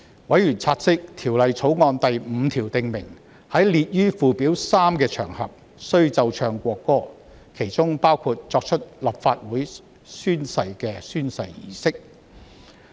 委員察悉，《條例草案》第5條訂明，在列於附表3的場合，須奏唱國歌，當中包括作出立法會誓言的宣誓儀式。